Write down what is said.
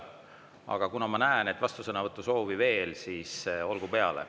Aga kuna ma näen vastusõnavõtusoove veel, siis olgu peale.